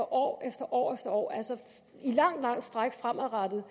år efter år efter år altså i et langt langt stræk fremadrettet